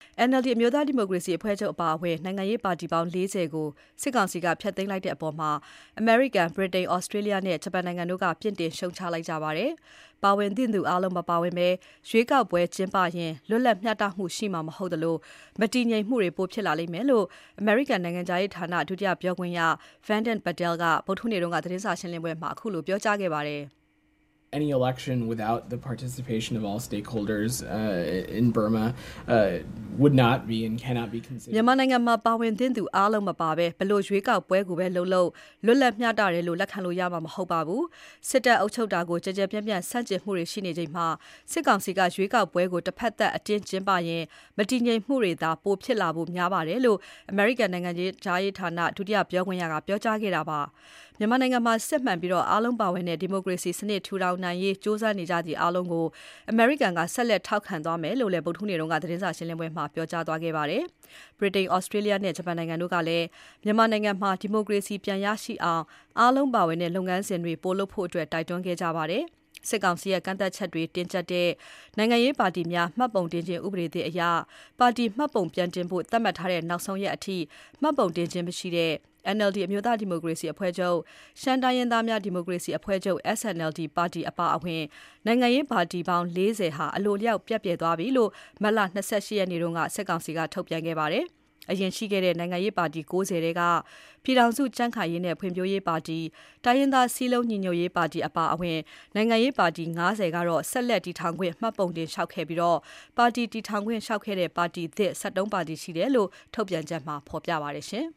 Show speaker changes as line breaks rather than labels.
NLD အမျိုးသားဒီမိုကရေစီအဖွဲ့ချုပ်အပါအဝင် နိုင်ငံရေးပါတီပေါင်း ၄၀ ကို စစ်ကောင်စီက ဖျက်သိမ်းလိုက်တဲ့အပေါ် အမေရိကန်၊ ဗြိတိန်၊ သြစတေးလျနဲ့ ဂျပန်နိုင်ငံတို့က အပြစ်တင်လိုက်ပါတယ်။ ပါဝင်သင့်သူအားလုံး မပါဝင်ဘဲ ရွေးကောက်ပွဲကျင်းပရင် လွတ်လပ် မျှတမှုရှိမှာ မဟုတ်သလို မတည်ငြိမ်မှုတွေ ပိုဖြစ်လာလိမ့်မယ်လို့ အမေရိကန်နိုင်ငံခြားရေးဌာန ဒုတိယပြောခွင့်ရ Vedant Patel က ဗုဒ္ဓဟူးနေ့ သတင်းစာရှင်းပွဲမှာ ခုလို ပြောကြားခဲ့ပါတယ်။
မြန်မာ
နိုင်ငံမှာ ပါဝင်သင့်သူအားလုံး မပါဘဲ ဘယ်လိုရွေးကောက်ပွဲပဲ လုပ်လုပ် လွတ်လပ် မျှတတယ်လို့ လက်ခံလို့ရမှာ မဟုတ်ပါဘူး။ စစ်တပ်အုပ်ချုပ်တာကို ကျယ်ကျယ်ပြန့်ပြန့် ဆန့်ကျင်နေချိန်မှာ စစ်ကောင်စီက ရွေးကောက်ပွဲကို တဖက်သတ် အတင်းကျင်းပရင် မတည်ငြိမ်မှုတွေလာ ပိုဖြစ်လာဖို့များပါတယ်လို့ အမေရိကန်နိုင်ငံခြားရေးဌာန ဒုတိယပြောခွင့်ရက ပြောကြားခဲ့တာဖြစ်ပါတယ်။ မြန်မာနိုင်ငံမှာ စစ်မှန်ပြီး အားလုံးပါဝင်တဲ့ ဒီမိုကရေစီစနစ် ထူထောင်နိုင်ရေး ကြိုးစားနေကြသူအားလုံးကို အမေရိကန်က ဆက်လက်ထောက်ခံသွားမယ်လို့လည်း ဗုဒ္ဓဟူးနေ့က သတင်းစာရှင်းလင်းပွဲမှာ ပြောကြားသွားခဲ့ပါတယ်။ ဗြိတိန်၊ သြစတေးလျနဲ့ ဂျပန်နိုင်ငံတို့ကလည်း မြန်မာနိုင်ငံမှာ ဒီမိုကရေစီ ပြန်ရှိလာအောင် အားလုံးပါဝင်တဲ့ လုပ်ငန်းစဉ်တွေ ပိုလုပ်ဖို့ တိုက်တွန်းခဲ့ကြပါတယ်။ နောက်ဆုံးရက်အထိ မှတ်ပုံတင်ခြင်းမရှိတဲ့ NLD, ရှမ်းတိုင်းရင်းသားများ ဒီမိုကရေစီအဖွဲ့ချုပ် SNLD ပါတီ အပါအဝင် နိုင်ငံရေးပါတီပေါင်း ၄၀ ဟာ အလိုအလျောက် ပျက်ပြယ်သွားပြီလို့ မတ်လ ၂၈ ရက်နေ့မှာ စစ်ကောင်စီက ထုတ်ပြန်ခဲ့ပါတယ်။ အရင်ရှိခဲ့တဲ့ နိုင်ငံရေးပါတီ ၉၀ ထဲက ပြည်ထောင်စုကြံခိုင်ရေးနဲ့ ဖွံ့ဖြိုးရေးပါတီ၊ တိုင်းရင်းသားစည်းလုံးညီညွတ်ရေးပါတီအပါအဝင် နိုင်ငံရေးပါတီ ၅၀ က ဆက်လက်တည်ထောင်ခွင့် မှတ်ပုံတင်လျှောက်ခဲ့ပြီး ပါတီတည်ထောင်ခွင့် လျှောက်ခဲ့တဲ့ ပါတီသစ် ၁၃ ပါတီရှိတယ်လို့ ထုတ်ပြန်ချက်မှာ ဖော်ပြပါတယ်